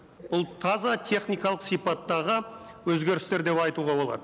бұл таза техникалық сипаттағы өзгерістер деп айтуға болады